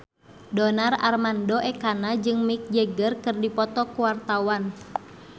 Donar Armando Ekana jeung Mick Jagger keur dipoto ku wartawan